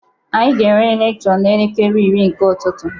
Anyị ga-enwe lekchọ n'elekere iri nke ụtụtụ a.